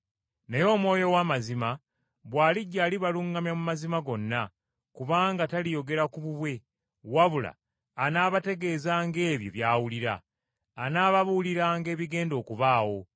Naye Omwoyo ow’amazima, bw’alijja alibaluŋŋamya mu mazima gonna, kubanga, taliyogera ku bubwe, wabula anaabategeezanga ebyo by’awulira. Anaababuuliranga ebigenda okubaawo.